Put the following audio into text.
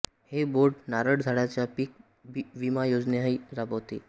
हे बोर्ड नारळ झाडांचा पीक विमा योजनाही राबवते